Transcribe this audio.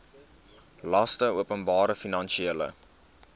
laste openbare finansiële